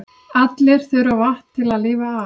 Allir þurfa vatn til að lifa af.